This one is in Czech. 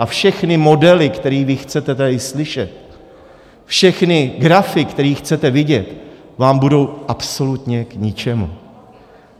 A všechny modely, které vy chcete tady slyšet, všechny grafy, které chcete vidět, vám budou absolutně k ničemu.